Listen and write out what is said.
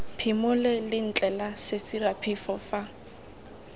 phimole lentle la sesiraphefo fa